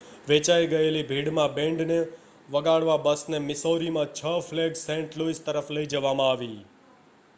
વેચાઈ ગયેલી ભીડમાં બેન્ડને વગાડવા બસને મિસૌરીમાં 6 ફ્લેગ્સ સેન્ટ લૂઇસ તરફ લઈ જવામાં આવી